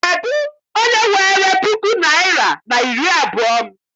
Kedụ onye weere puku naịra na iri abụọ m?